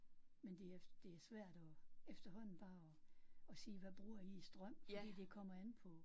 Men det er det er svært at efterhånden bare at at sige hvad bruger I i strøm fordi det kommer an på